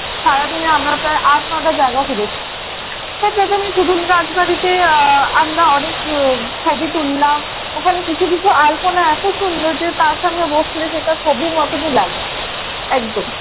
সারাদিনে আমরা প্রায় আট নয়টা জায়গা ঘুরেছি। তো প্রথমেই সুদুন রাজবাড়িতে আহ আমরা অনেক উহ ছবি তুললাম ওখানে কিছু কিছু আলপনা এত সুন্দর যে তার সামনে বসলে সেটা ছবির মতনই লাগে একদম।